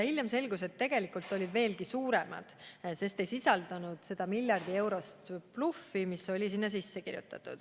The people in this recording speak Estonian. Hiljem selgus, et tegelikult olid need veelgi suuremad, sest ei sisaldanud seda miljardieurost bluffi, mis oli sinna sisse kirjutatud.